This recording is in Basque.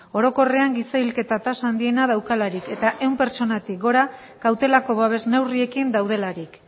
orokorrean giza hilketa tasa handiena daukalarik eta ehun pertsonatik gora kautelako babes neurriekin daudelarik